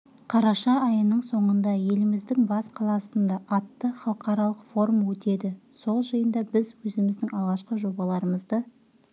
қараша айының соңында еліміздің бас қаласында атты халықаралық форум өтеді сол жиында біз өзіміздің алғашқы жобаларымызды